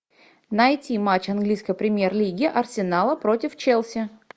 найти матч английской премьер лиги арсенала против челси